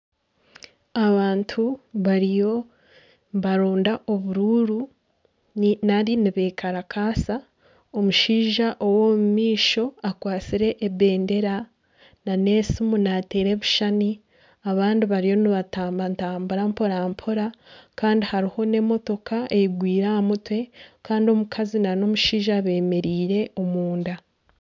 Abantu bariyo nibaronda obururu nari nibekarakaasa omushaija ow'omu maisho akwatsire ebendera nana esimu nateera ebishushani abandi bariyo nibatambatambura mporampora kandi hariho n'emotoka eigwire aha mutwe kandi omukazi nana omushaija bemereire omunda.